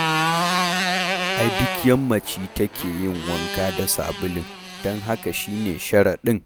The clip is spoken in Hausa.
Ai duk yammaci take yin wanka da sabulun, don haka shi ne sharaɗin